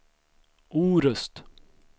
Orust